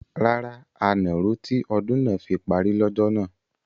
Rárá, a nà ró tí ọdún náà fi parí lọ́jọ́ náà.